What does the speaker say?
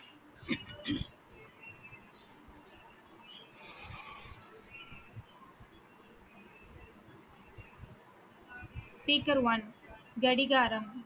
speaker one கடிகாரம்